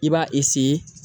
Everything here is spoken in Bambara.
I b'a